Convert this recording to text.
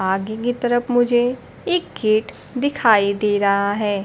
आगे की तरफ मुझे एक गेट दिखाई दे रहा है।